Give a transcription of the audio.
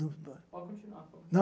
Pode continuar, pode continuar.